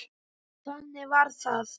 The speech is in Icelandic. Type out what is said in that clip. Þannig var það.